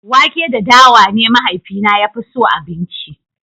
wake da dawa ne mahaifina ya fi so abinci